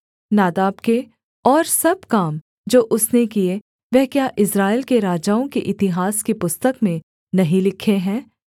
नादाब के और सब काम जो उसने किए वह क्या इस्राएल के राजाओं के इतिहास की पुस्तक में नहीं लिखे हैं